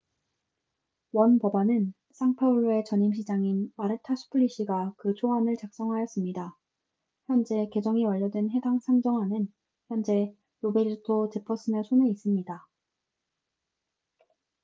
원 법안은 상파울루의 전임 시장인 마르타 수플리시가 그 초안을 작성하였습니다 현재 개정이 완료된 해당 상정안은 현재 로베르토 제퍼슨의 손에 있습니다